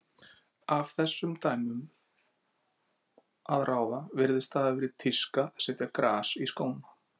Af þessum dæmum að ráða virðist það hafa verið tíska að setja gras í skóna.